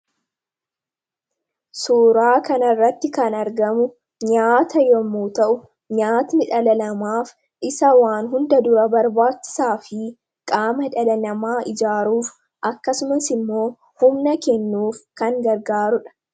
Suuraa kana irratti kan argamu nyaata yommoo ta'u, nyaanni dhala namaa isa waan hunda dura barbaachisaa fi qaama dhalalamaa ijaaruuf akkasumas immoo humna kennuuf kan gargaaruudha.